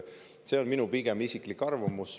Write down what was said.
See on minu isiklik arvamus.